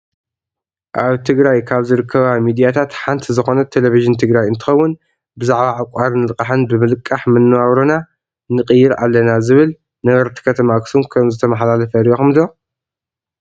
ኣብ ትግራይ ካብ ዝርከባ ሚዳታት ሓንቲ ዝኮነት ቴሌቪዥን ትግራይ እንትከውን ብዛዕባ ዕቋርን ልቓሕን ብምልቃሕ መናባብሮና ንቅይር አለና ዝብል ነበርቲ ከተማ ኣክሱም ከም ዝተመሓላለፈ ሪኢኩም ዶ?